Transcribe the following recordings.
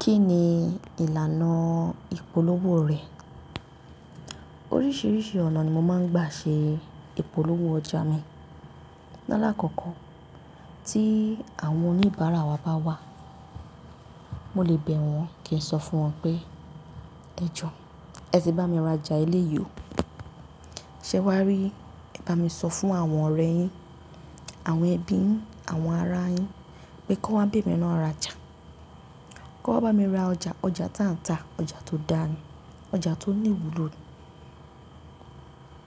Kí ni ìlànà ìpolówó rẹ̀? Oríṣiríṣi ọ̀nà ni mo máa ń gbà ṣe ìpolówó ọjà mi. Lálàkọ́kọ́ tí àwọn oníbàárà wa bá wà, mo lè bẹ̀ wọ́n kí n sọ fún wọn pé, "ẹ jọ, ẹ sì bá mi rajà ilé yìí o. Ṣé wà á rí, ẹ bá mi sọ fún àwọn ọ̀rẹ́ yín, àwọn ẹbí yín, àwọn ará yín pé kí wọ́n be mi naa rajà. Kó bá mi ra ọjà, ọjà táǹtà, ọjà tó dá ni, ọjà tó ní ìwúlò ni,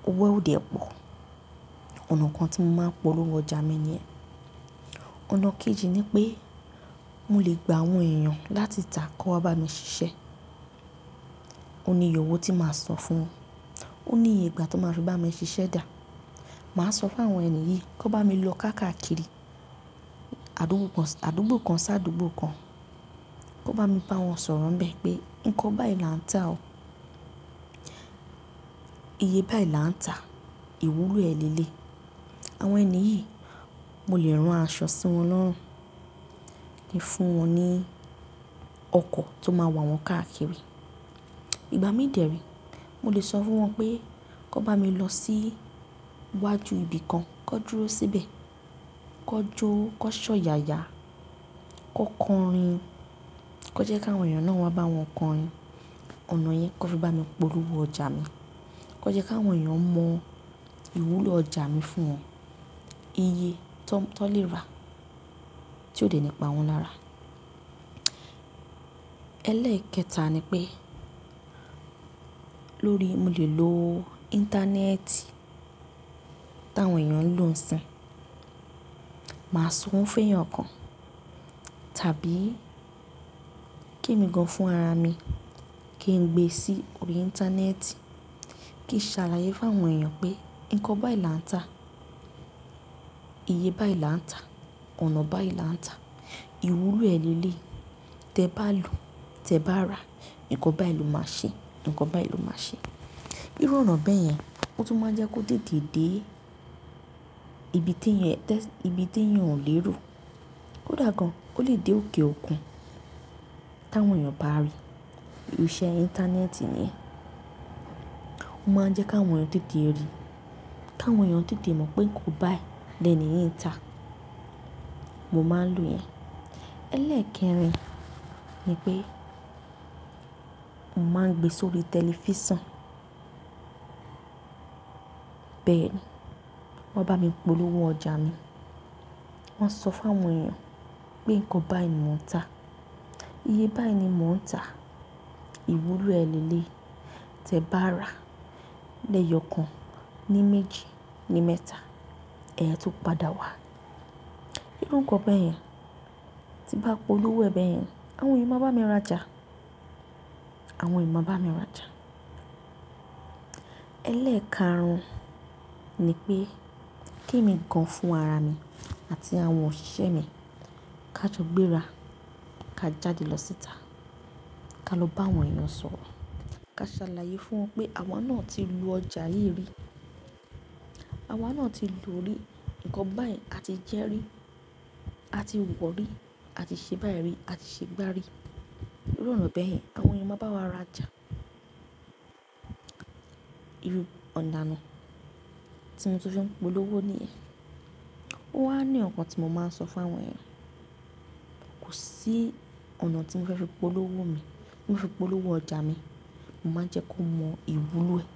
owó ó dè pọ̀." Ònà kan tí mo máa ń polówó ọjà mi niyẹn. Ònà kejì ni pé mo lè gba àwọn èèyàn láti ità kí won wa bá mi ṣiṣẹ́. Ó ní ìyẹ̀ owo tí màá sọ fún, ó ní iye ìgbà tó won máa fi bá mi ṣiṣẹ́ dà. Màá sọ fún àwọn ènìyí kí ó bá mi lọ káàkiri àdúgbò kan sí àdúgbò kan, kí ó bá mi bá wọn sọ̀rọ̀ nbẹ́ẹ̀ pé nǹkan báyìí là ń tà o. Iye báyìí là ń tà, ìwúlò ẹ̀ lé lé. Àwọn ènìyí, mo lè rán aṣọ sí wọn lọ́rùn, fún wọn ní ọkọ̀ tó máa wà wọ́n káàkiri. Ìgbà mín dẹ̀ ree mo lè sọ fún wọn pé kí wón bá mi lọ sí iwájú ibi kan, kí ó dúró síbẹ̀, kí ó jó, kí ó ṣọ̀yàya, kí ó kọrin, kí ó jẹ́ kí àwọn èèyàn náà wá bá wọn kọrin. Ònà yẹn kó fi bá mi polówó ọjà mi. Kan jẹ́ kí àwọn èèyàn mọ ìwúlò ọjà mi fún wọn. Iye tó lè rà tí ó dè nípa wọn lára. Ẹlẹ́ẹ̀kẹta ni pé lórí mo lè lo Íńtánẹ́ẹ̀tì tí àwọn èèyàn ń lò ń sìn. Màá san owo fún èèyàn kan tàbí kí emi gan fún ara mi kí n gbe sí orí Íńtánẹ́ẹ̀tì kí n ṣàlàyé fún àwọn èèyàn pé nǹkan báyìí là ń tà, iye báyìí là ń tà, ọ̀nà báyìí là ń tà, ìwúlò ẹ̀ léléyi. Tẹ bá loo, tẹ bá rà, nǹkan báyìí ló máa ṣe, nǹkan báyìí ló máa ṣe. Irú ọ̀nà bẹ́ẹ̀ yẹn, ó tún máa ń jẹ́ kó tètè dé ibi tí ènìyàn ò lè ro. Ko dà gan, ó lè dé òkè òkun tí àwọn èèyàn bá rí. Irú iṣẹ́ Íńtánẹ́ẹ̀tì niyen. Ó máa ń jẹ́ kí àwọn èèyàn tètè rí, kí àwọn èèyàn tètè mọ̀ pé nǹkan báyìí lẹ́ẹ̀ni yín tà. Mo máa ń lò ìyẹn. Ẹlẹ́ẹ̀kẹrin ni pé mo máa ń gbe sórí tẹlifísàn. Bẹ́ẹ̀ ni, wọ́n bá mi polówó ọjà mi. Wọ́n ṣọ fún àwọn èèyàn pé nǹkan báyìí ni mò ń tà, iye báyìí ni mò ń tà, ìwúlò ẹ̀ lé léyi. Tẹ bá rà lẹ́ẹ̀yọ̀ kan, ní méjì, ní mẹ́ta, ẹ̀yin a tun padà wá. Irú nǹkan bẹ́ẹ̀ yẹn tí bá polówó e bẹ́ẹ̀ yẹn, àwọn èèyàn máa bá mi rajà, àwọn èèyàn máa bá mi rajà. Ẹlẹ́ẹ̀karùn-ún ni pé ke mi gan fún ara mi àti àwọn òṣìṣẹ́ mi ká jọ gbéra ká jáde lọ síta ká lọ bá àwọn èèyàn sọ̀rọ̀ ká ṣàlàyé fún wọn pé àwa náà ti lo ọjà yìí rí. Àwa náà ti lò ó rí, nǹkan báyìí a ti jẹ́ rí, a ti wọ̀ rí, a ti ṣe báyìí rí, a ti ṣe gbá rí. Irú ọ̀nà bẹ́ẹ̀ yẹn àwọn èèyàn máa bá wa rajà. Irú ọ̀nà ni tí mo tun fi n polówó níyen. Ó wá ni ọ̀kan tí mo máa ń sọ fún àwọn èèyàn. Kò sí ọ̀nà tí mo fẹ́ fi polówó mi, fi polówó ọjà mi, mo máa ń jẹ́ kó mọ ìwúlò ẹ̀